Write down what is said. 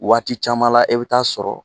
Waati caman la e bi taa sɔrɔ